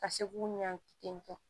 Ka se k'u ɲɔan ten